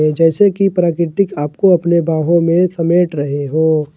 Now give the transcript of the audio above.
जैसे कि प्राकृतिक आपको अपने बाहों में समेट रहे हो।